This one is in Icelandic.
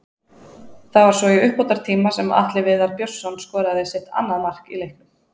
Það var svo í uppbótartíma sem Atli Viðar Björnsson skoraði sitt annað mark í leiknum.